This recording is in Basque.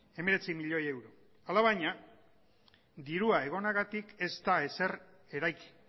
hemeretzi milioi euro alabaina dirua egonagatik ez da ezer eraiki